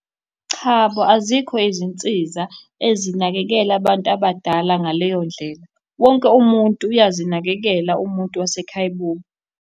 Chabo, azikho izinsiza ezinakekela abantu abadala ngaleyo ndlela, wonke umuntu uyazinakekela umuntu wasekhaya kubo.